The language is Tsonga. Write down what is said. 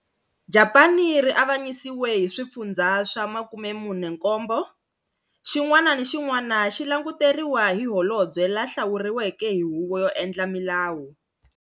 Japani ri avanyisiwe hi swifundzha swa 47, xin'wana ni xin'wana xi languteriwa hi holobye la hlawuriweke ni huvo yo endla milawu.